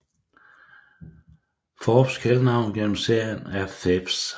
Phoebes kælenavn gennem serien er Pheebs